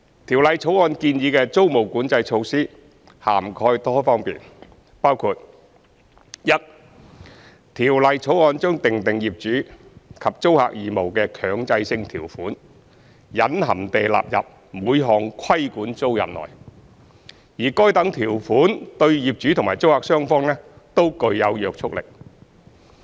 《條例草案》建議的租務管制措施涵蓋多方面，包括：一《條例草案》將訂定業主及租客義務的強制性條款隱含地納入每項規管租賃內，而該等條款對業主及租客雙方均具約束力。